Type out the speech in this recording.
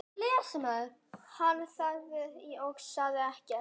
Hann þagði og sagði ekkert.